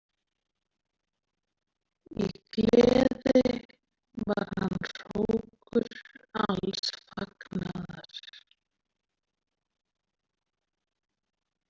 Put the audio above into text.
Í gleði var hann hrókur alls fagnaðar.